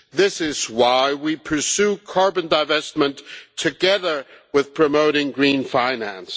This is why we pursue carbon divestment together with promoting green finance.